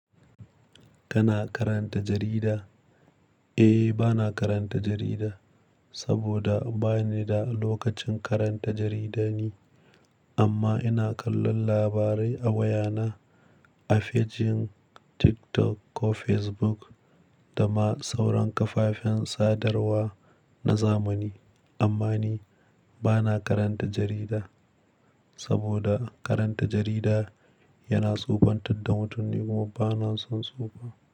Kana karanta jarida? Eh, bana karanta jarida saboda ba ni da lokacin karanta jarida ni, amma ina kallon labarai a wayana, a fejin TikTok ko Facebook da ma sauran kafafen sadarwa na zamani. Amma ni bana karanta jarida saboda karanta jarida yana tsufan tad da mutum, ni kuma bana son tsufa.